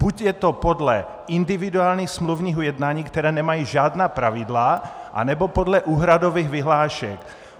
Buď je to podle individuálních smluvních ujednání, která nemají žádná pravidla, anebo podle úhradových vyhlášek.